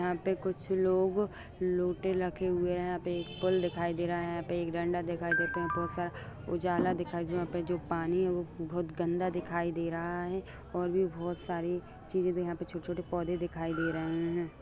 यहां पे कुछ लोग लोटे रखे हुए हैं| यहां पे एक पुल दिखाई दे रहा है| यहां पे एक डंडा दिखाई देते हैं बहुत सा उजाला दिखाई जो वहां पे जो पानी है वो बहुत गंदा दिखाई दे रहा है| और भी सारी चीज यहां पर छोटे-छोटे पौधे दिखाई दे रहे हैं ।